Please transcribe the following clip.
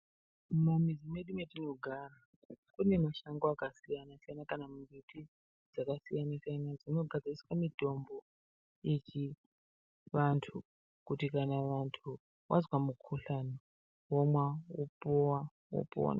Mumizi medu metinogara kune mashango akasiyana-siyana kana mbiti dzakasiyana-siyana dzinogadziriswe mitombo yechivantu. Kuti kana vantu wazwa mukuhlani womwa, wopuwa wopona.